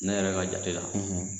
Ne yɛrɛ ka jate la